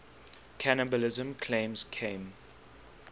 cannibalism claims came